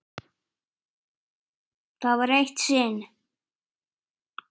Kannski sofa þau ekkert saman?